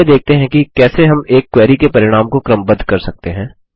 पहले देखते हैं कि कैसे हम एक क्वेरी के परिणाम को क्रमबद्ध कर सकते हैं